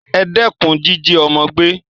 E dékun jíjí ọ́mọ́ gbé